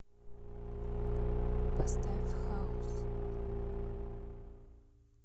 поставь хаус